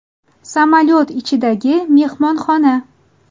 Samolyot ichidagi mehmonxona .